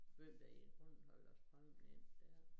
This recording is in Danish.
Hvem der i grunden hvade lagt strømmen ind dér